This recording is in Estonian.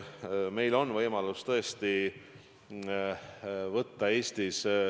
Meil on tõesti võimalus võtta laenu.